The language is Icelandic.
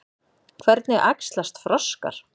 Hvernig æxlast froskar?